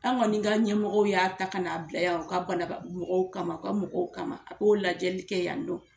An kɔni ka ɲɛ mɔgɔw y'a ta ka n'a bila yan u ka banaba mɔgɔw kama u ka mɔgɔw kama a k'o lajɛli kɛ yan nɔ